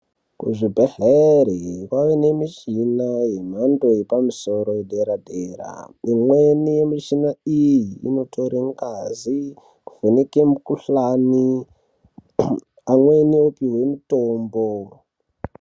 Kuzvibhedhleri kwaane nemishina yemhando yepamusoro edera dera imweni yemishina iyi inotorw ngazi kuvheneke mukhuhlani kuu amweni opiwe mutombo.